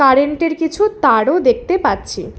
Current -এর কিছু তারও দেখতে পাচ্ছি।